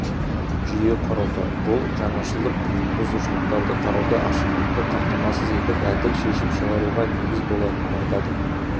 жүйе құрылды бұл жаңашылдық құқықбұзушылықтарды қарауда ашықтықты қамтамасыз етіп әділ шешім шығаруға негіз болатынын айтады